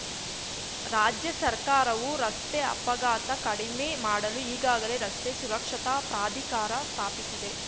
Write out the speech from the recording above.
ರಾಜ್ಯ ಸರ್ಕಾರವು ರಸ್ತೆ ಅಪಘಾತ ಕಡಿಮೆ ಮಾಡಲು ಈಗಾಗಲೇ ರಸ್ತೆ ಸುರಕ್ಷತಾ ಪ್ರಾಧಿಕಾರ ಸ್ಥಾಪಿಸಿದೆ